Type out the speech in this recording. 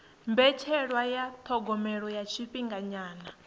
mbetshelwa ya thogomelo ya tshifhinganyana